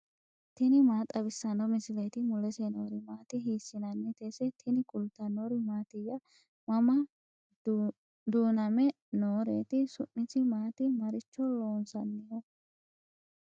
tini maa xawissanno misileeti ? mulese noori maati ? hiissinannite ise ? tini kultannori mattiya? mama duuname nooreti? su'misi maati? maricho loosanniho?